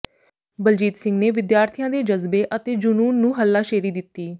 ਬਲਜੀਤ ਸਿੰਘ ਨੇ ਵਿਦਿਆਰਥੀਆਂ ਦੇ ਜਜ਼ਬੇ ਅਤੇ ਜਨੂੰਨ ਨੂੰ ਹੱਲਾਸ਼ੇਰੀ ਦਿੱਤੀ